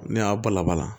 Ne y'a balabala